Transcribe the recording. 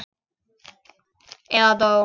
Eða dó.